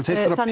þurfa